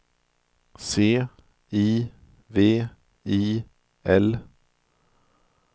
C I V I L